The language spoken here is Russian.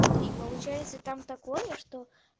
смотри получается там такое что